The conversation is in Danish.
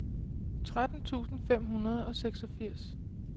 tretten tusind fem hundrede og seksogfirs